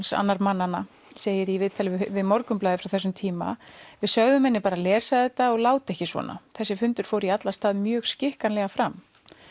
og annar mannana segir í viðtali við Morgunblaðið frá þessum tíma við sögðum henni bara að lesa þetta og láta ekki svona þessi fundur fór í alla staði mjög skikkanlega fram